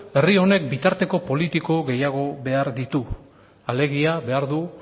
herri honek bitarteko politiko behar ditu alegia behar du